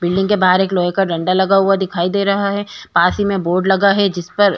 building के बाहर एक लोहे का डंडा लगा हुआ दिखाई दे रहा है पास ही में बोर्ड लगा है जिसपर --